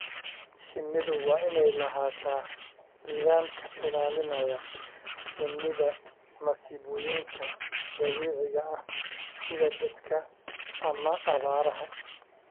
Shinnidu waa inay lahaataa nidaam ka ilaalinaya shinnida masiibooyinka dabiiciga ah sida daadadka ama abaaraha.